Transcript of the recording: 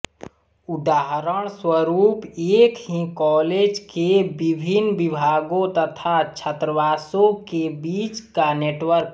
उदाहरणस्वरूप एक ही कॉलेज के विभिन्न विभागों तथा छात्रावासों के बीच का नेटवर्क